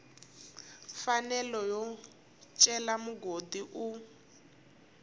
mfanelo yo cela mugodi u